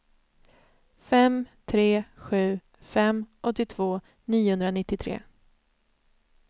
fem tre sju fem åttiotvå niohundranittiotre